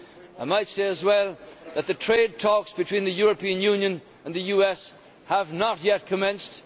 I might also say that the trade talks between the European Union and the US have not yet commenced.